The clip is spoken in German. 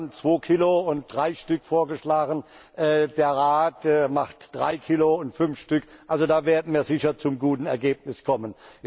Wir haben zwei Kilo und drei Stück vorgeschlagen, der Rat macht drei Kilo und fünf Stück daraus, also da werden wir sicher zu einem guten Ergebnis kommen.